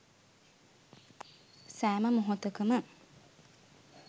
සෑම මොහොතකම